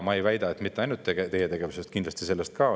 Ma ei väida, et see tuleneb ainult teie tegevusest, kuigi kindlasti sellest ka.